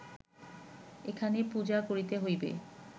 এখানে পূজা করিতে হইবে